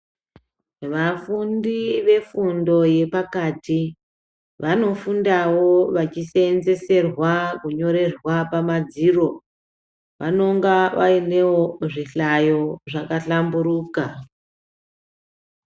Vafundi vefundo yepakati vanofundawo vachiseenzeserwa kunyorerwa pamadziro. Vanonga vainewo zvihlayo zvakahlamburuka.